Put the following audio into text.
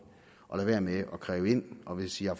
og lade være med at kræve ind og hvis i har